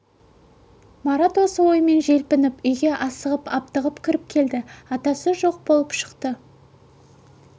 марат осы оймен желпініп үйге асығып-аптығып кіріп келіп еді атасы жоқ болып шықты